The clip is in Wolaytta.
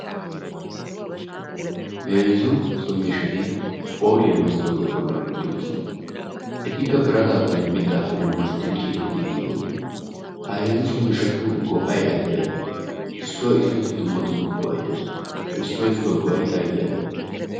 Heezzu so miishshat phooliya masttootiya bollan uttidosona. Etikka birataappenne mittaappe masettidi ciirettidi giiggidosona. Ha heezzu so miishshatu go'ay aybee aybee? Issuwa issuwassi dumma dumma go'ay dees. Ha issuwa issuwa go'ay aybee aybee?